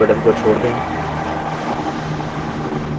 अब mouse button को छोड़ दें